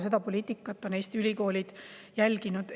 Seda poliitikat on Eesti ülikoolid järginud.